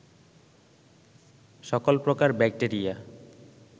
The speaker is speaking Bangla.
সকল প্রকার ব্যাক্টেরিয়া